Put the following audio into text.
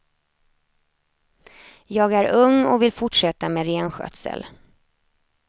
Jag är ung och vill fortsätta med renskötsel.